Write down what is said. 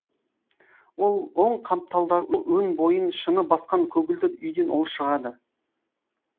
ол оң қапталда өн бойын шыны басқан көгілдір үйден ол шығады